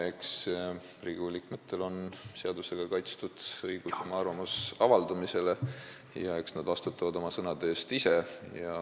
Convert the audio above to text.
Eks Riigikogu liikmetel on seadusega kaitstud õigus oma arvamust avaldada ja eks nad vastutavad oma sõnade eest ise.